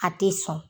A tɛ sɔn